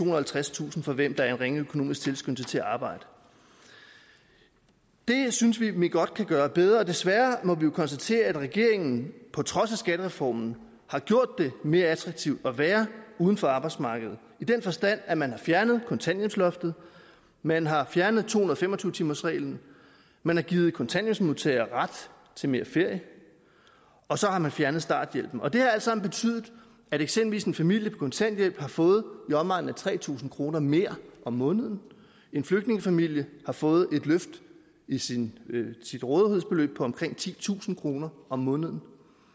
og halvtredstusind for hvem der er en ringe økonomisk tilskyndelse til at arbejde det synes vi at vi godt kan gøre bedre og desværre må vi jo konstatere at regeringen på trods af skattereformen har gjort det mere attraktivt at være uden for arbejdsmarkedet i den forstand at man fjernede kontanthjælpsloftet man har fjernet to hundrede og fem og tyve timersreglen man har givet kontanthjælpsmodtagere ret til mere ferie og så har man fjernet starthjælpen det har alt sammen betydet at eksempelvis en familie på kontanthjælp har fået i omegnen af tre tusind kroner mere om måneden en flygtningefamilie har fået et løft i sit sit rådighedsbeløb på omkring titusind kroner om måneden